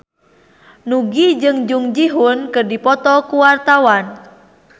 Nugie jeung Jung Ji Hoon keur dipoto ku wartawan